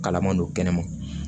Kalaman don kɛnɛ ma